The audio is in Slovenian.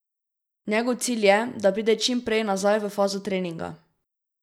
Njegov cilj je, da pride čim prej nazaj v fazo treninga.